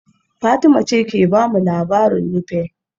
Fatima ce ke ba mu labarin Nupe